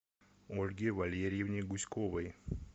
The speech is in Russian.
ольге валерьевне гуськовой